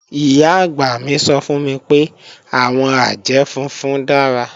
Ìyá-àgbà mi sọ fún mi pé, àwọn àjẹ́ funfun dára